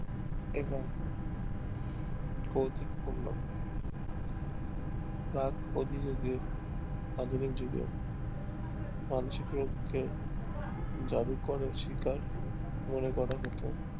এবং কৌতুকপূর্ণ প্রাক আধুনিক যুগের মানসিক রোগ কে জাদু করার শিকার মনে করা হতো